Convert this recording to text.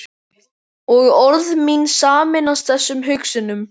Og orð mín sameinast þessum hugsunum.